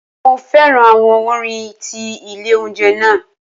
Mo fẹ́ràn àwọn orin tí ilé oúnjẹ náà.